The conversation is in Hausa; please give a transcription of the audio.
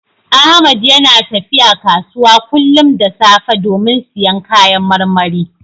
Ahmad yana tafiya kasuwa kullum da safe domin siyan kayan marmari.